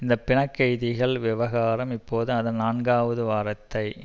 இந்த பிணைக்கைதிகள் விவகாரம் இப்போது அதன் நான்காவது வாரத்தை